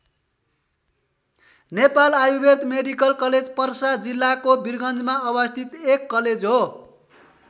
Nepal Ayurved medical college Parsa जिल्लाको बिरगञ्जमा अवस्थित एक कलेज हो।